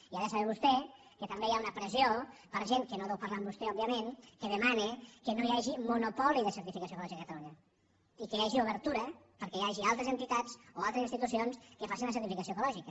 i ha de saber vostè que també hi ha una pressió per gent que no deu parlar amb vostè òbviament que demana que no hi hagi monopoli de certificació ecològica a catalunya i que hi hagi obertura perquè hi hagi altres entitats o altres institucions que facin la certificació ecològica